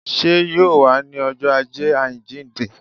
Sé yóò wá ní ọjọ́ ajé àjíìnde?